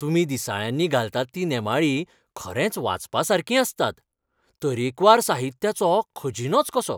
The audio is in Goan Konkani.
तुमी दिसाळ्यांनी घालतात तीं नेमाळीं खरेंच वाचपासारकीं आसतात. तरेकवार साहित्याचो खजिनोच कसो.